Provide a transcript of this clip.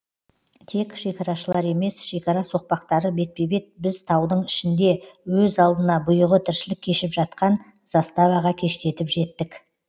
тек шекарашылар емес шекара соқпақтары бетпе бет біз таудың ішінде өз алдына бұйығы тіршілік кешіп жатқан заставаға кештетіп жеттік